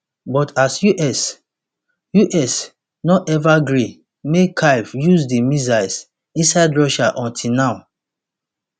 but us us no ever gree make kyiv use di missiles inside russia until now